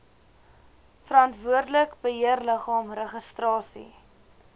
verantwoordelike beheerliggaam registrasie